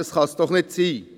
Dies kann doch nicht sein.